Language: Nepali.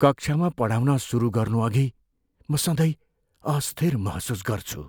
कक्षामा पढाउन सुरु गर्नुअघि म सधैँ अस्थिर महसुस गर्छु।